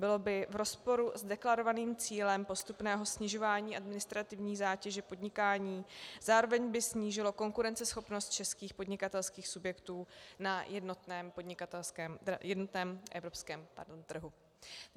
Bylo by v rozporu s deklarovaným cílem postupného snižování administrativní zátěže podnikání, zároveň by snížilo konkurenceschopnost českých podnikatelských subjektů na jednotném evropském trhu.